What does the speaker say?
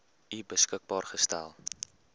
u beskikbaar gestel